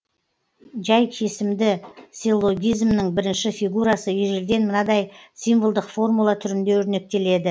жай кесімді силлогизмнің бірінші фигурасы ежелден мынадай символдық формула түрінде өрнектеледі